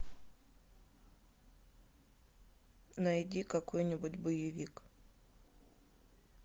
найди какой нибудь боевик